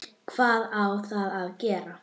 Hvað á þá að gera?